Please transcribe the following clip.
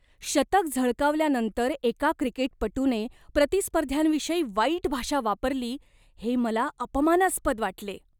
शतक झळकावल्यानंतर एका क्रिकेटपटूने प्रतिस्पर्ध्यांविषयी वाईट भाषा वापरली हे मला अपमानास्पद वाटले.